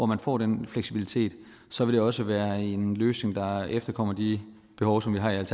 man får den fleksibilitet så vil det også være en løsning der efterkommer de behov som vi har i